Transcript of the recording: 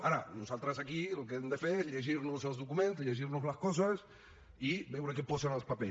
ara nosaltres aquí el que hem de fer és llegir nos els documents llegir nos les coses i veure què posen els papers